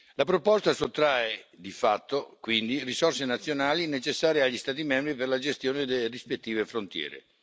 La proposta sottrae di fatto, quindi, risorse nazionali necessarie agli Stati membri per la gestione delle rispettive frontiere.